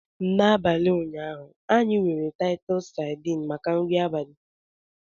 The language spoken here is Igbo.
N'abalị ụnyaahụ, anyị nwere Titus sardines maka nri abalị.